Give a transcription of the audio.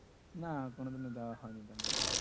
না কোনোদিন ও যাওয়া হয়নি ব্যাঙ্গালোর